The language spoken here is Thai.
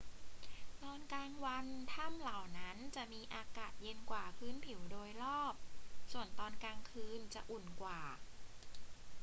ตอนกลางวันถ้ำเหล่านั้นจะมีอากาศเย็นกว่าพื้นผิวโดยรอบ ส่วนตอนกลางคืนจะอุ่นกว่า